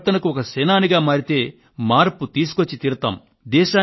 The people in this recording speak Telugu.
ఈ పరివర్తనకు ఒక సేనానిగా మారితే మార్పు తీసుకొచ్చి తీరగలుగుతాము